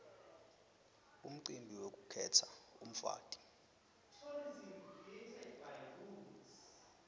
umcibi wekukhetsa umfati